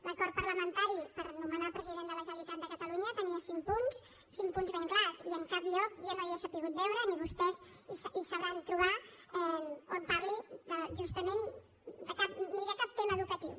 l’acord parlamentari per nomenar president de la generalitat de catalunya tenia cinc punts cinc punts ben clars i en cap lloc jo no hi he sabut veure ni vostès hi sabran trobar on parli justament de cap tema educatiu